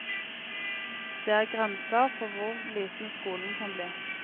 Det er grenser for hvor liten skolen kan bli.